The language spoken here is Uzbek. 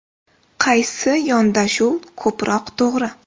Qaysi yondashuv ko‘proq to‘g‘ri?